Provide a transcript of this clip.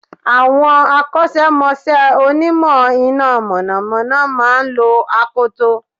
Àwon Akọ́sẹ́mọsẹ́ Onímọ̀ iná mọ̀nọ̀mọ́nọ́ máa n lo akoto